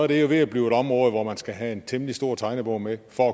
det er jo ved at blive et område hvor man skal have en temmelig stor tegnebog med for